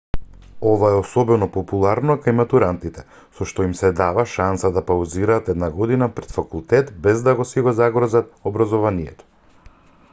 ова е особено популарно кај матурантите со што им се дава шанса да паузираат една година пред факултет без да си го загрозат образованието